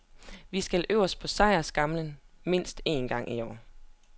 Vi skal øverst på sejrsskamlen mindst en gang i år.